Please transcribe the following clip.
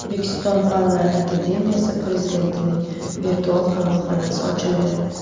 O‘zbekiston Fanlar akademiyasi prezidentining virtual qabulxonasi ochildi.